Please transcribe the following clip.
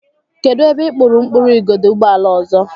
Kedụ ebe ị kpụrụ mkpụrụ igodo ụgbọala ọzọ?